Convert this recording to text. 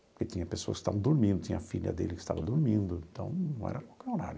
Porque tinha pessoas que estavam dormindo, tinha a filha dele que estava dormindo, então não era qualquer horário.